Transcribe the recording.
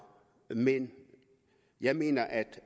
men jeg mener at